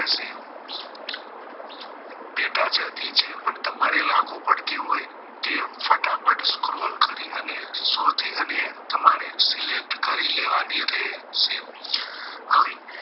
પેટા જાતિ જે પણ તમારે લાગુ પડતી હોય તે ફટાફટ scroll કરી અને શોધી અને તમાર select કરી લેવાની રહેશે હવે